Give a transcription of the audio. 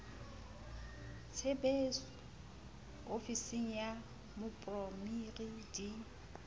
tsebiso ofising ya moporemiri di